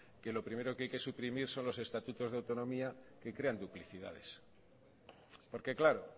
que lo primero que hay que suprimir son los estatutos de autonomía que crean duplicidades porque claro